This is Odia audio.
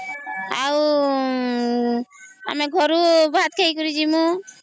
ଆଉ ଆମେ ଘରୁ ଭାତ ଖାଇ କରି ଯିବୁ